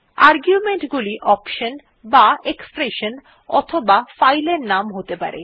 argument গুলি option বা expression অথবা ফাইল নাম হতে পারে